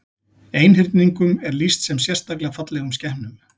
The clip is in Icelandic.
Einhyrningum er lýst sem sérstaklega fallegum skepnum.